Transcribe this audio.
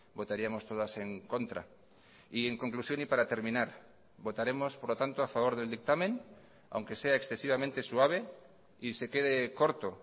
votaríamos todas en contra y en conclusión y para terminar votaremos por lo tanto a favor del dictamen aunque sea excesivamente suave y se quede corto